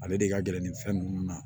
Ale de ka gɛlɛn nin fɛn nunnu na